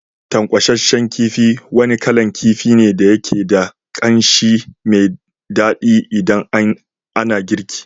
Tankwashen kifi wani kalan kifi ne da yake da kanshi mai dadi idan ana girki.